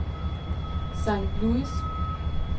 St. Louis